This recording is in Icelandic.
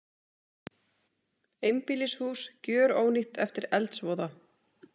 Einbýlishús gjörónýtt eftir eldsvoða